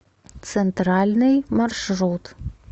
центральный маршрут